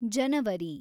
ಜನವರಿ